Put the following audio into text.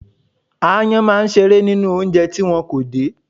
Aáyán máa ń ṣeré nínú oúnjẹ tí wọn kò dè.